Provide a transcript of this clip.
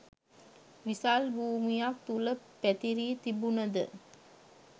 විසල් භූමියක් තුළ පැතිරී තිබුණ ද